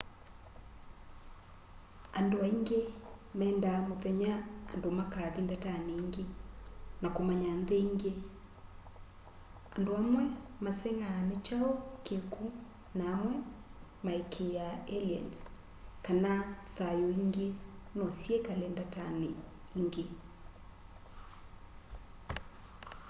andũ aĩngĩ mendaa mũthenya andũ makathĩ ndatanĩ ĩngĩ na kũmanya nthĩ ĩngĩ andũ amwe maseng'aa nĩkyaũ kĩkũ na amwe maĩkĩĩa alĩens kana thayũ ĩngĩ nosyĩkale ndatanĩ ĩngĩ